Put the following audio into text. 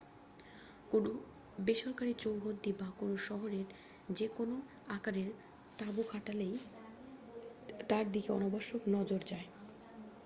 কোনও বেসরকারি চৌহদ্দি বা কোনও শহরে যে কোনও আকারের তাঁবু খাটালেই তার দিকে অনাবশ্যক নজর যায়